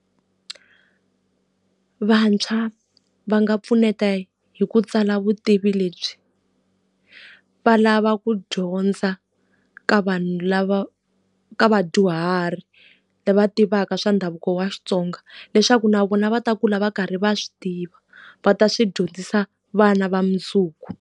Vantshwa va nga pfuneta hi ku tsala vutivi lebyi. Va lava ku dyondza ka vanhu lava ka vadyuhari va tivaka swa ndhavuko wa Xitsonga. Leswaku na vona va ta kula va karhi va swi tiva, va ta swi dyondzisa vana va mundzuku.